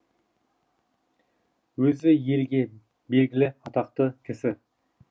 өзі елге белгілі атақты кісі